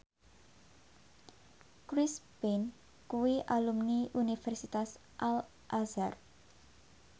Chris Pane kuwi alumni Universitas Al Azhar